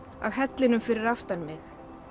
af hellinum fyrir aftan mig